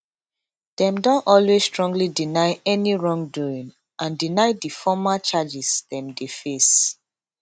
dem don always strongly deny any wrongdoing and deny di formal charges dem dey face